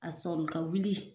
A sɔli ka wili